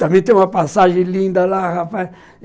Também tem uma passagem linda lá, rapaz.